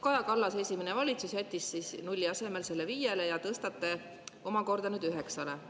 Kaja Kallase esimene valitsus jättis nulli asemel selle 5%‑le ja te tõstate selle omakorda nüüd 9%‑le.